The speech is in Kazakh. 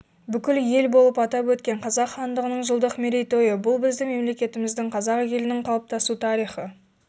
бүкіл ел болып атап өткен қазақ хандығының жылдық мерейтойы бұл біздің мемлекетіміздің қазақ елінің қалыптасу тарихы